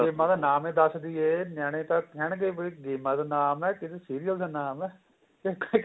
ਗੇਮਾ ਦਾ ਨਾਮ ਹੀ ਦਸ ਦਈਏ ਨਿਆਣੇ ਤਾਂ ਕਹਿਣ ਗਏ ਵੀ ਗੇਮਾ ਦਾ ਨਾਮ ਕਿਸੇ serial ਦਾ ਨਾਮ ਏ ਇਹ ਤਾਂ ਕਿਸੇ